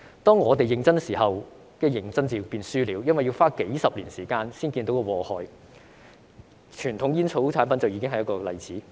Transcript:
當我們認真的時候，"認真便輸了"，因為要花幾十年時間才可看到禍害，傳統煙草產品就已經是一個例子。